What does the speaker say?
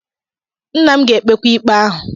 Nna m ga-ekpekwa ikpe ahụ.